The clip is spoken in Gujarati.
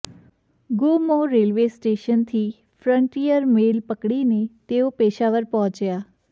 ગોમોહ રેલ્વે સ્ટેશનથી ફ્રન્ટિયર મેલ પકડીને તેઓ પેશાવર પહોચ્યા